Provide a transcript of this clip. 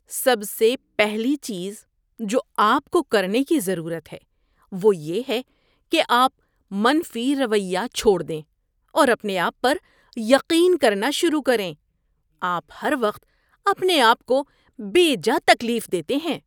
سب سے پہلی چیز جو آپ کو کرنے کی ضرورت ہے وہ یہ ہے کہ آپ منفی رویہ چھوڑ دیں اور اپنے آپ پر یقین کرنا شروع کریں۔ آپ ہر وقت اپنے آپ کو بیجا تکلیف دیتے ہیں۔